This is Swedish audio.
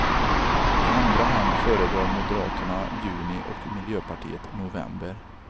I andra hand föredrar moderaterna juni och miljöpartiet november.